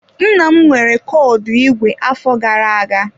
Nna m nwere kọdụ igwe afọ gara-aga.